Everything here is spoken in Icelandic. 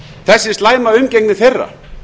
þessi slæma umgengni þeirra